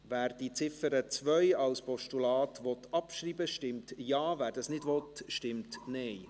Wer die Ziffer 2 als Postulat abschreiben will, stimmt Ja, wer dies nicht will, stimmt Nein.